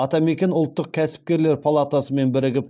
атамекен ұлттық кәсіпкерлер палатасымен бірігіп